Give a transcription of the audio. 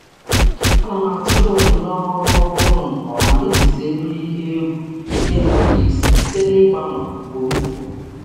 Ana m atụle onyinye um ọrụ ọhụrụ nke ọma iji zere um ihe egwu na-enweghị um isi site n'ịgbanwe ugboro ugboro.